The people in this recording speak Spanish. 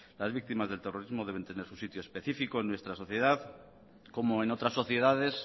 las víctimas del terrorismo deben tener su sitio específico en nuestra sociedad como en otras sociedades